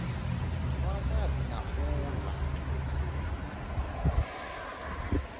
nwa madi na u la